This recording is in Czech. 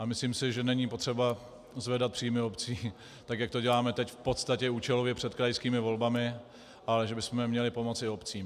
A myslím si, že není potřeba zvedat příjmy obcí, tak jak to děláme teď v podstatě účelově před krajskými volbami, ale že bychom měli pomoci obcím.